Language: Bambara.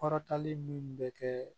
Kɔrɔtanlen min bɛ kɛ